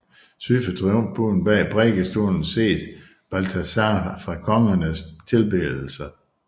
Syd for triumfbuen bag prædikestolen ses Balthasar fra Kongernes tilbedelse